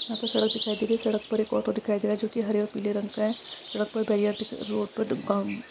यहाँ पर सड़क दिखाई दे रही है। सड़क पर एक ऑटो दिखाई दे रहा है जो कि हरे और पीले रंग का है। सड़क पर बेरीअर दिख रोड पर --